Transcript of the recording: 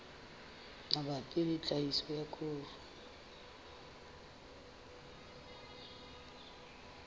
mabapi le tlhahiso ya koro